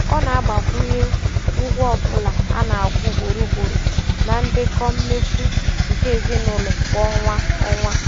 Ọ na-agbakwunye ụgwọ ọbụla a na-akwụ ugboro ugboro na ndekọ mmefu nke ezinụụlọ kwa ọnwa.